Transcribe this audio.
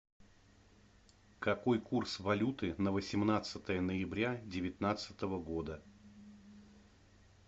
какой курс валюты на восемнадцатое ноября девятнадцатого года